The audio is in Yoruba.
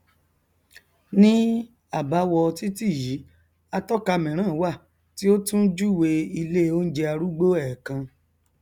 ní àbáwọ titi yìí atọka míràn wà tí ó tún júwèé ilé oúnjẹ arúgbo ẹẹkan